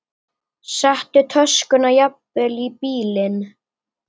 Settu töskuna jafnvel í bílinn.